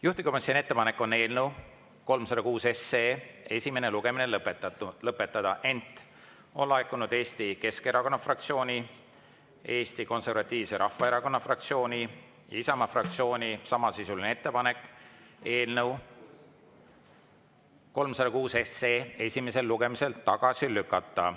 Juhtivkomisjoni ettepanek on eelnõu 306 esimene lugemine lõpetada, ent on laekunud Eesti Keskerakonna fraktsiooni, Eesti Konservatiivse Rahvaerakonna fraktsiooni ja Isamaa fraktsiooni samasisuline ettepanek eelnõu 306 esimesel lugemisel tagasi lükata.